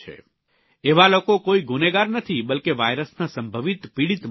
એવા લોકો કોઇ ગુનેગાર નથી બલ્કે વાયરસના સંભવિત પીડીત માત્ર છે